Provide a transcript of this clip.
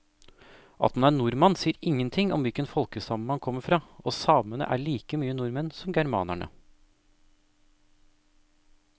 At man er nordmann sier ingenting om hvilken folkestamme man kommer fra, og samene er like mye nordmenn som germanerne.